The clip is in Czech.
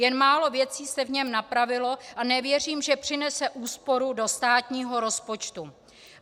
Jen málo věcí se v něm napravilo a nevěřím, že přinese úsporu do státního rozpočtu.